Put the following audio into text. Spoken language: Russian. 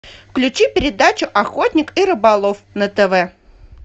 включи передачу охотник и рыболов на тв